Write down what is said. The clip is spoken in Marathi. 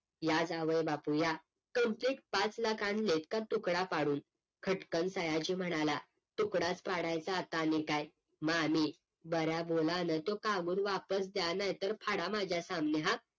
या जावईबापू या complete पाच लाख आणल्यात का तुकडा पाडून? खटकन सयाजी म्हणाला तुकडाच पडायचा आणि आता काय मामी बऱ्या बोलानं त्यो कागद वापस द्या नाहीतर फाडा माझ्या सामने हा